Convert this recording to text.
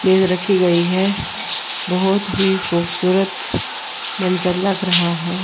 मेज रखी गईं हैं बहोत ही खूबसूरत मंजर लग रहा हैं।